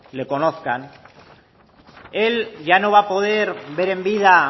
le conozcan él ya no va a poder ver en vida